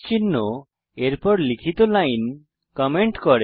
চিহ্ন এরপর লিখিত লাইন কমেন্ট করে